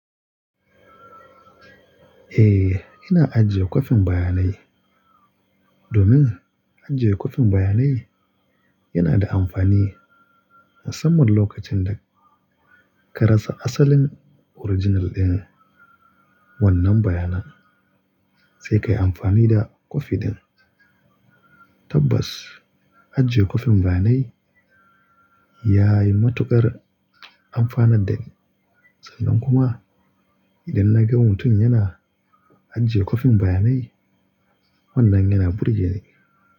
Eh, ina ajiye kwafin bayanai domin ajiye kwafin bayanai yana da amfani musamman lokacin da ka rasa asalin original ɗin wannan bayanan sai ka yi amfani da kwafi ɗin. Tabbas, ajiye kwafin bayanai ya yi matuƙar amfanar dani. Sannan kuma idan na ga mutum yana ajiye kwafin bayanai wannan yana burge ni.